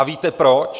A víte proč?